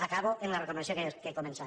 acabo amb la recomanació que he començat